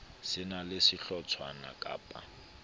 se na le sehlotshwana kappa